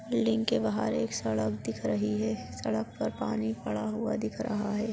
Building के बाहर एक सड़क दिख रही है सड़क पर पानी पड़ा हुआ दिख रहा है।